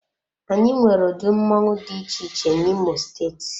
Anyị nwere ụdị mmoṅụ dị iche iche na imo steeti.